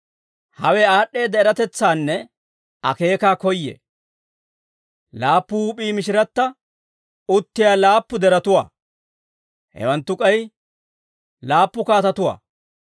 «Hawe aad'd'eedda eratetsaanne akeeka koyyee. Laappu huup'ii mishiratta uttiyaa laappu deretuwaa; hewanttu k'ay laappu kaatatuwaa.